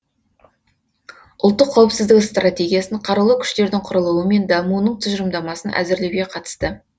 ұлттық қауіпсіздік стратегиясын қарулы күштердің құрылуы мен дамуының тұжырымдамасын әзірлеуге қатысты